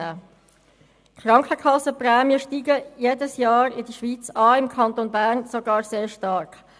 Die Krankenkassenprämien steigen in der Schweiz jedes Jahr an, im Kanton Bern sogar sehr stark.